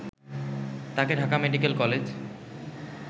তাকে Dhaka medical college